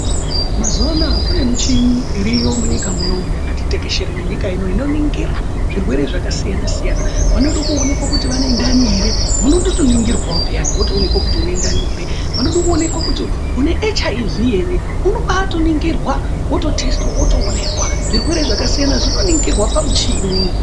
Mazuvaanaya kunemichini, iriyo munyika munoumu yakatitekeshere nenyika ino, inoningira zvirwere zvakasiyana siyana. Vanode kuwonekwa kuti vane ntani here munotoningirwawo wotowonekwa kuti unentani here, vanoda kuwonekwa kuti une HIV here unobatoningirwa ,wototestwa wotowonekwa. Zvirwere zvakasiyana zvino ningirwa pamuchini.